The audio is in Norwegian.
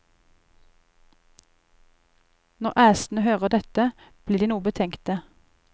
Når æsene hører dette, blir de noe betenkte.